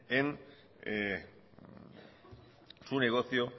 en su negocio